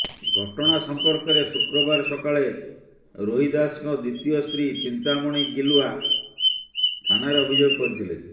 ଘଟଣା ସମ୍ପର୍କରେ ଶୁକ୍ରବାର ସକାଳେ ରୋହିଦାସଙ୍କ ଦ୍ବିତୀୟ ସ୍ତ୍ରୀ ଚିନ୍ତାମଣି ଗିଲୁଆ ଥାନାରେ ଅଭିଯୋଗ କରିଥିଲେ